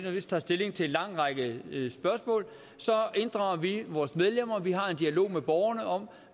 tager stilling til en lang række spørgsmål inddrager vi vores medlemmer og vi har en dialog med borgerne om